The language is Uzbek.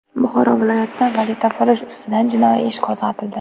Buxoro viloyatida valyutafurush ustidan jinoiy ish qo‘zg‘atildi.